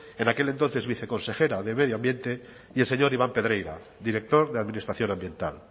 en aquel entonces viceconsejera de medio ambiente y el señor iván pedreira director de administración ambiental